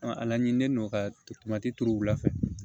a laɲini ne n'o ka turu u la fɛ